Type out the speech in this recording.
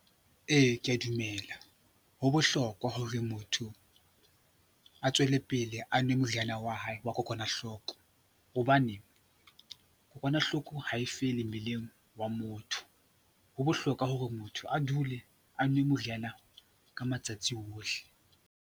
Ee, ke a dumela ho bohlokwa hore motho a tswellepele a nwe moriana wa hae wa kokwanahloko hobane kokwanahloko ha e fele mmeleng wa motho. Ho bohlokwa hore motho a dule a nwa moriana ka matsatsi ohle.